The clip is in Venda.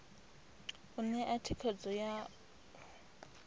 u ṋea thikhedzo ya u